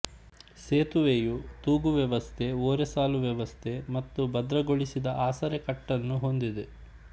ಸೇತುವೆಯು ತೂಗು ವ್ಯವಸ್ಥೆ ಓರೆಸಾಲು ವ್ಯವಸ್ಥೆ ಮತ್ತು ಭದ್ರಗೊಳಿಸಿದ ಆಸರೆಕಟ್ಟನ್ನು ಹೊಂದಿದೆ